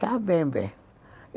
Está bem, bem.